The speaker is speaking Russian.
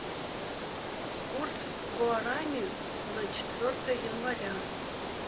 курс гуарани на четвертое января